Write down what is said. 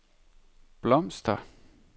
blomster